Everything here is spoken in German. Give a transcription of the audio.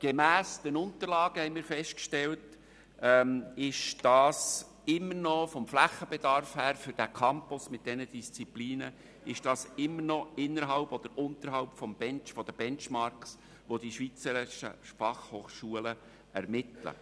Gemäss den Unterlagen haben wir festgestellt, dass der Mehrbedarf für den Flächenbedarf dieses Campus mit diesen Disziplinen immer noch unterhalb des Benchmarks liegt, den die schweizerischen Fachhochschulen ermitteln.